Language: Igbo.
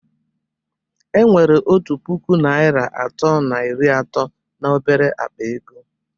Enwere otu puku naịra atọ na iri atọ na obere akpa ego